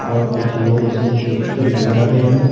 और कुछ लोग इसको खींच कर ले जा रहे हैं।